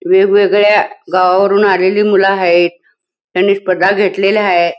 वेगवेगळ्या गावावरून आलेली मूल हायेत त्यांनी स्पर्धा घेतलेल्या हाये.